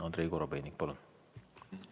Andrei Korobeinik, palun!